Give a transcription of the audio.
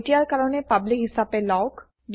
এতিয়াৰ কাৰণে পাব্লিক হিছাপে লওক